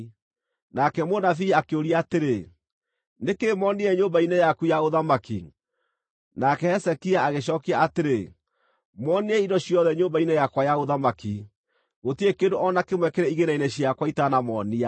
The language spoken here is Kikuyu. Nake mũnabii akĩũria atĩrĩ, “Nĩ kĩĩ monire nyũmba-inĩ yaku ya ũthamaki?” Nake Hezekia agĩcookia atĩrĩ, “Monire indo ciothe nyũmba-inĩ yakwa ya ũthamaki. Gũtirĩ kĩndũ o na kĩmwe kĩrĩ igĩĩna-inĩ ciakwa itanamonia.”